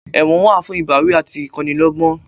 Ẹ̀wọ̀n wà fún ìbáwí àti ìkọ́ni lọ́gbọ́n